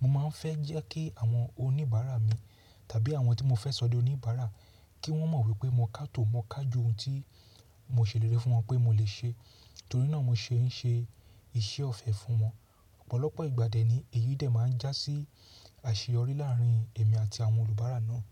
Mo máa ń fẹ́ jẹ́ kí àwọn oníbàárà mi tàbí àwọn tí mo fẹ́ sọ̀dí oníbàárà kí wọ́n mọ̀ wípé mo kàtò mọ́ ká ju ohun tí mò ṣèlérí fún wọn pé mo lè ṣe, torí náà mo ṣe ń ṣe iṣẹ́ ọ̀fẹ́ fún wọn. Ọ̀pọ̀lọpọ̀ ìgbà dẹ́ ni èyí dẹ̀ máa ń jásí àṣeyọrí láàárín èmi àti àwọn olùbára náà.